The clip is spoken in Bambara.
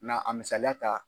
Na a misaliya ta.